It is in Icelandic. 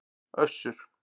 Össur